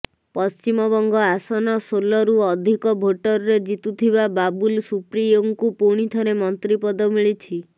ପଶ୍ଚିମବଙ୍ଗ ଆସନଶୋଲରୁ ଅଧିକ ଭୋଟରେ ଜିତିଥୁବା ବାବୁଲ ସୁପ୍ରିୟୋଙ୍କୁ ପୁଣିଥରେ ମନ୍ତ୍ରୀ ପଦ ମିଳିଛି